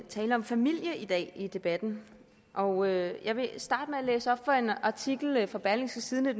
tale om familie i dag i debatten og jeg vil starte med at læse op fra en artikel fra berlingske tidende